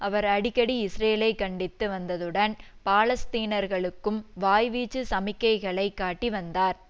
அவர் அடிக்கடி இஸ்ரேலை கண்டித்து வந்ததுடன் பாலஸ்தீனர்களுக்கும் வாய்வீச்சு சமிக்கைகளை காட்டி வந்தார்